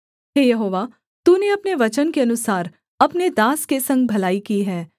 हे यहोवा तूने अपने वचन के अनुसार अपने दास के संग भलाई की है